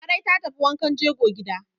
Larai ta tafi wankan jego gida.